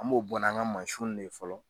An m'o bɔ n'an ka mansinw de ye fɔlɔ.